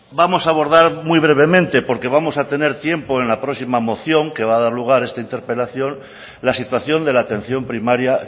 vamos a abordar muy brevemente porque vamos a tener tiempo en la próxima moción que va a dar lugar a esta interpelación la situación de la atención primaria